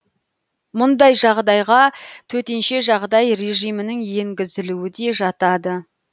мұндай жағдайға төтенше жағдай режимінің енгізілуі де жатады